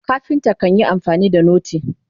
carpenter kanyi amfani da noti